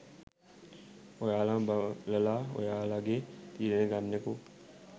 ඔයාලම බලලා ඔයාලගේ තීරණය ගන්නකො..